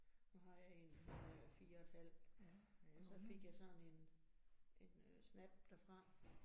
Nu har jeg 1 hun er 4 et halvt, øh så fik jeg sådan en en øh snap derfra